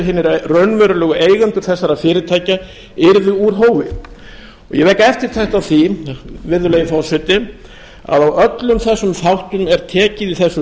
hinir raunverulegu eigendur þessara fyrirtækja yrði úr hófi ég vek eftirtekt á því virðulegi forseti að á öllum þessum þáttum er tekið í þessu